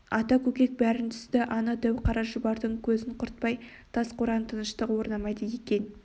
ата көкек бәрін түсінді ана дәу қара шұбардың көзін құртпай тас қорада тыныштық орнамайды екен